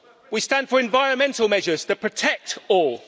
We stand for environmental measures that protect all.